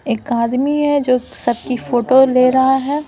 एक आदमी है जो सबकी फोटो ले रहा है।